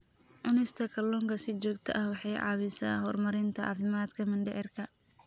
Cunista kalluunka si joogto ah waxay caawisaa horumarinta caafimaadka mindhicirka.